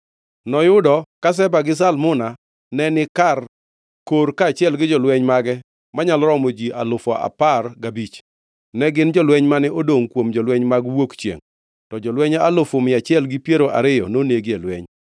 Noyudo ka Zeba gi Zalmuna neni Karkor kaachiel gi jolweny mage manyalo romo ji alufu apar gabich, ne gin jolweny mane odongʼ kuom jolweny mag wuok chiengʼ, to jolweny alufu mia achiel gi piero ariyo nonegi e lweny.